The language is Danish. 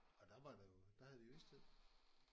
Og der var der jo der havde vi jo istid